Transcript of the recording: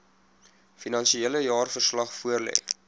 finansiële jaarverslag voorlê